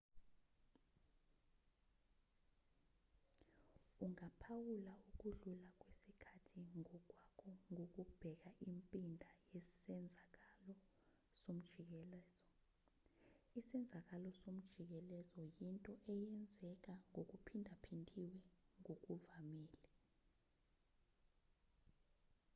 ungaphawula ukudlula kwesikhathi ngokwakho ngokubheka impinda yesenzakalo somjikelozo isenzakalo somjikelezo yinto eyenzeka ngokuphindaphindiwe ngokuvamile